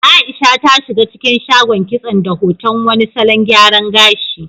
Aisha ta shiga cikin shagon kitson da hoton wani salon gyaran gashi.